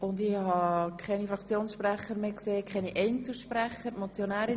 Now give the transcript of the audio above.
Ich sehe keine Fraktions- oder Einzelsprecher mehr.